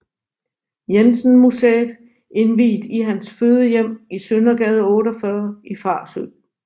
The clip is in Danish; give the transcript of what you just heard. Jensen Museet indviet i hans fødehjem i Søndergade 48 i Farsø